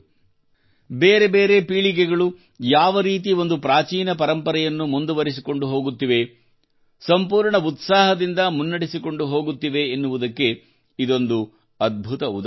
ಬೇರೆ ಬೇರೆ ಪೀಳಿಗೆಗಳು ಯಾವ ರೀತಿ ಒಂದು ಪ್ರಾಚೀನ ಪರಂಪರೆಯನ್ನು ಮುಂದುರಿಸಿಕೊಂಡು ಹೋಗುತ್ತಿವೆ ಸಂಪೂರ್ಣ ಉತ್ಸಾಹದಿಂದ ಮುನ್ನಡೆಸಿಕೊಂಡು ಹೋಗುತ್ತಿವೆ ಎನ್ನುವುದಕ್ಕೆ ಇದೊಂದು ಅದ್ಭುತ ಉದಾಹರಣೆಯಾಗಿದೆ